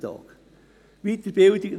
Für Ferien entfallen weitere 33 Tage;